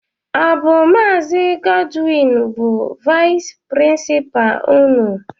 Ọ bụ Maazi Godwin bụ vais prinsipa ụnụ?